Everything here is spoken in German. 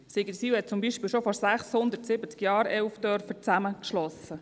Sigriswil zum Beispiel hat schon vor 670 Jahren 11 Dörfer zusammengeschlossen.